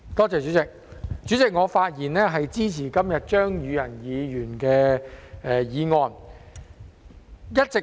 主席，我發言支持張宇人議員的議案。